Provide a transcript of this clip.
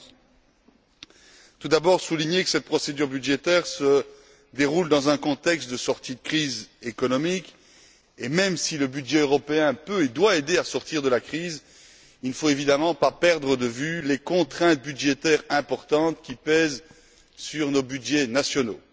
2011. Je tiens tout d'abord à souligner que cette procédure budgétaire se déroule dans un contexte de sortie de crise économique et, même si le budget européen peut et doit aider à sortir de la crise, il ne faut évidemment pas perdre de vue les contraintes budgétaires importantes qui pèsent sur nos budgets nationaux.